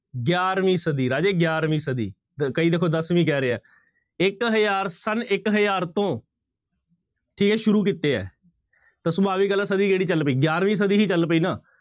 ਗਿਆਰਵੀਂ ਸਦੀ ਰਾਜੇ ਗਿਆਰਵੀਂ ਸਦੀ, ਕਈ ਦੇਖੋ ਦਸਵੀਂ ਕਹਿ ਰਹੇ ਆ ਇੱਕ ਹਜ਼ਾਰ ਸੰਨ ਇੱਕ ਹਜ਼ਾਰ ਤੋਂ ਛੇ ਸ਼ੁਰੂ ਕੀਤੇ ਹੈ ਤਾਂ ਸਦੀ ਕਿਹੜੀ ਚੱਲ ਪਈ ਗਿਆਰਵੀਂ ਸਦੀ ਹੀ ਚੱਲ ਪਈ ਨਾ।